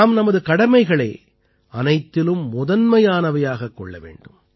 நாம் நமது கடமைகளை அனைத்திலும் முதன்மையானவையாகக் கொள்ள வேண்டும்